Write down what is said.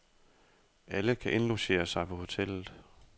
Alle kan indlogere sig på hotellet.